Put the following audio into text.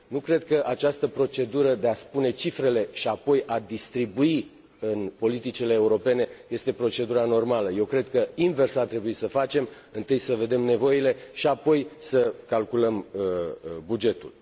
Nu cred că această procedură de a spune cifrele și apoi a distribui în politicile europene este procedura normală. Eu cred că invers ar trebui să facem întâi să vedem nevoile și apoi să calculăm bugetul.